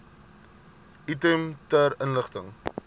item ter inligting